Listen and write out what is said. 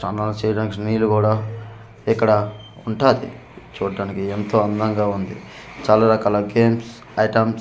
చానా చేయడానికి నీరు కూడా ఇక్కడ ఉంటాది చూట్టానికి ఎంతో అందంగా ఉంది చాలా రకాల గేమ్స్ అయిటమ్స్ .